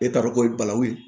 E t'a dɔn ko ye balawu ye